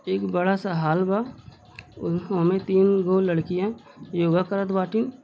एक बड़ा सा हॉल बा ओमे तीन गो लड़किया योगा करत बाटिन।